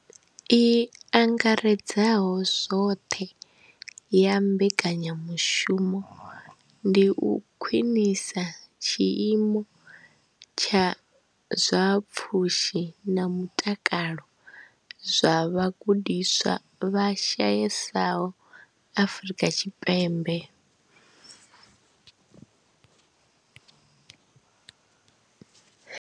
I angaredzaho zwoṱhe ya mbekanyamushumo ndi u khwinisa tshiimo tsha zwa pfushi na mutakalo zwa vhagudiswa vha shayesaho Afrika Tshipembe.